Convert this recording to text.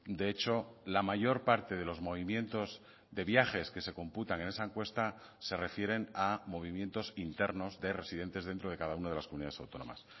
de hecho la mayor parte de los movimientos de viajes que se computan en esa encuesta se refieren a movimientos internos de residentes dentro de cada una de las comunidades autónomas